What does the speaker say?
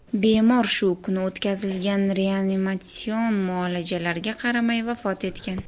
Bemor shu kuni o‘tkazilgan reanimatsion muolajalarga qaramay vafot etgan.